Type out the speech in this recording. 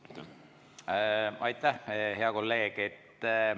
Aitäh, hea kolleeg!